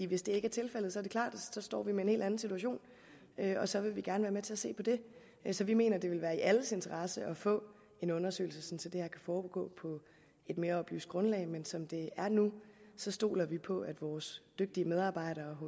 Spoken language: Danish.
hvis det ikke er tilfældet er det klart at så står vi med en helt anden situation og så vil vi gerne være med til at se på det så vi mener at det vil være i alles interesse at få en undersøgelse det her kan foregå på et mere oplyst grundlag men som det er nu stoler vi på at vores dygtige medarbejdere